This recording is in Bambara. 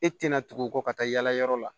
E tɛna tugu o kɔ ka taa yala yɔrɔ la